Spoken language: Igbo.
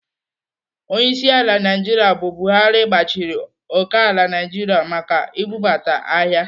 Onyeisiala Naijiria bụ Buhari gbachiri okeala Naijiria maka ibubata ahịa.